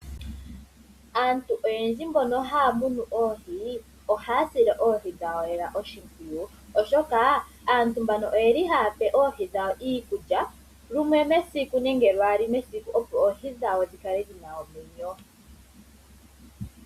Aantu oyendji mbono haya munu oohi, ohaya sile oohi dhawo lela oshimpwiyu, oshoka aantu mbano oyeli haya pe oohi dhawo iikulya lumwe mesiku nenge lwaali mesiku, opo oohi dhawo dhi kale dhi na omwenyo.